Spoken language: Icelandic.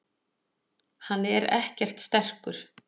Hann er ekkert sterkur.